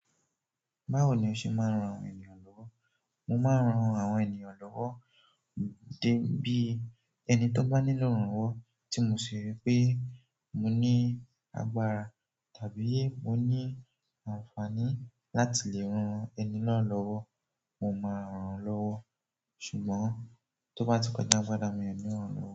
Báwo ni o ṣe máa ń ran ènìyàn lọ́wọ́? Mo máa ń ran àwọn ènìyàn lọ́wọ́ de bí ẹni tó bá nílò ìrànwọ́ tí mo ṣe rí pé mo ní agbára tàbí mo ní àǹfààní láti lè ran ẹni náà lọ́wọ́, mo máa rán lọ́wọ́. Ṣùgbọ́n tó bá ti kọjá agbára mi o ni ran lọ́wọ́.